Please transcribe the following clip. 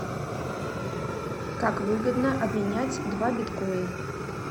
как выгодно обменять два биткоин